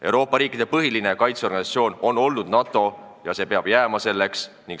Euroopa riikide põhiline kaitseorganisatsioon on olnud NATO ja see peab selleks jääma.